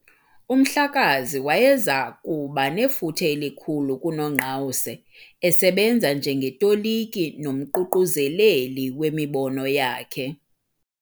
UMhlakazi wayeza kuba nefuthe elikhulu kuNongqawuse, esebenza njengetoliki nomququzeleli wemibono yakhe.